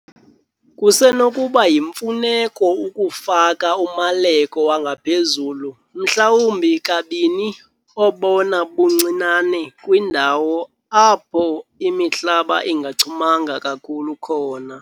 Kusenokuba yimfuneko ukufaka umaleko wangaphezulu mhlawumbi kabini obona buncinane kwiindawo apho imihlaba ingachumanga kakhulu khona.